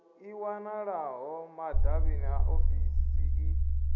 i wanalaho madavhini a ofisii